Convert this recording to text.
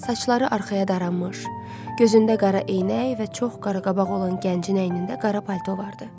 Saçları arxaya daranmış, gözündə qara eynək və çox qaraqabaq olan gəncin əynində qara palto vardı.